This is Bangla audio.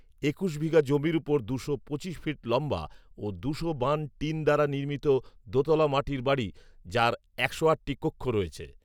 একুশ বিঘা জমির উপর দুশো পঁচিশ ফিট লম্বা ও দুশো বান টিন দ্বারা নির্মিত দোতলা মাটির বাড়ি যার একশো আটটি কক্ষ রয়েছে